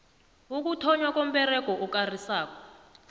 ukuthonnywa komberego okarisako